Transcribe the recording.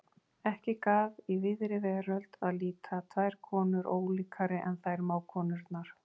Ekki gaf í víðri veröld að líta tvær konur ólíkari en þær mágkonurnar.